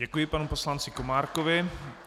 Děkuji panu poslanci Komárkovi.